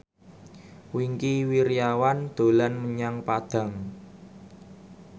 Wingky Wiryawan dolan menyang Padang